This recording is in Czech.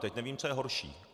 Teď nevím, co je horší.